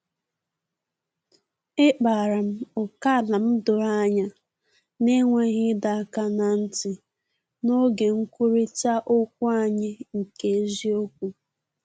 Ekpara m ókèala m doro anya, n’enweghị ịdọ aka ná ntị, n’oge nkwurịta okwu anyị nke eziokwu